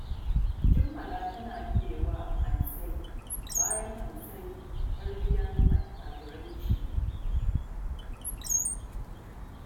Jummala tana biye wa Hansai, bayan Hansai 'yar gidan attajirai ce